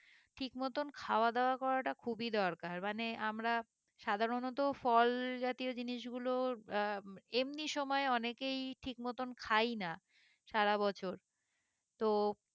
ঠিক মতন খাওয়া দাওয়া করাটা খুবই দরকার মানে আমরা সাধারণত ফল জাতীয় জিনিসগুলোর আহ এমনি সময় অনেকেই ঠিক মতন খাই না সারা বছর তো